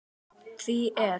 Því er